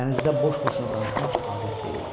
Dənizdə boş-boşuna danışmaq adət deyildi.